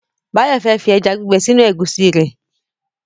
Báyọ̀ fẹ́ fi ẹja gbígbẹ sínú ẹ̀gúsí rẹ̀